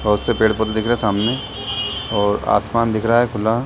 बहोत से पेड़-पौधे दिख रहे हैं सामने और आसमान दिख रहा है खुला।